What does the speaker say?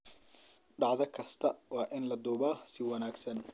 Dhacdo kasta waa in la duubaa si wanagsan.